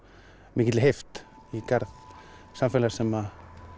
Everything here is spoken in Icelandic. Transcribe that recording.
mikilli heift í garð samfélags sem